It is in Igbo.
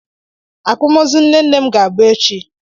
Akwamozu nne nne m ga-abụ echi.